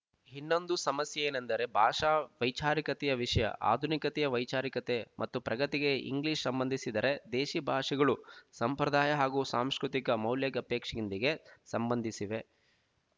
ಇನ್ನೊಂದು ಸಮಸ್ಯೆ ಏನಂದರೆ ಭಾಷಾ ವೈಚಾರಿಕತೆಯ ವಿಶಯ ಆಧುನಿಕತೆಯ ವೈಚಾರಿಕತೆ ಮತ್ತು ಪ್ರಗತಿಗೆ ಇಂಗ್ಲೀಷ್ ಸಂಬಂಧಿಸಿದ್ದರೆ ದೇಸಿ ಭಾಷೆಗಳು ಸಂಪ್ರದಾಯ ಹಾಗೂ ಸಾಂಸ್ಕೃತಿಕ ಮೌಲ್ಯಗಪೇಕ್ಷಿಂದಿಗೆ ಸಂಬಂಧಿಸಿವೆ